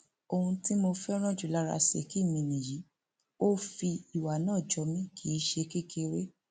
ohun tí mo fẹràn jù lára ṣèkí mi nìyí ò fìwà náà jó mi kì í ṣe kékeré